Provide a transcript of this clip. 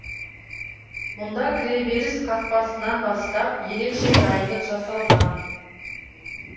мұнда кіреберіс қақпасынан бастап ерекше дайындық жасалған